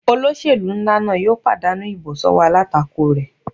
Olóṣèlú nlá náà yóò pàdánù ìbò sọ́wọ́ alátakò rẹ̀